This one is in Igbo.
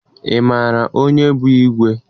Ị maara onye bụ igwe?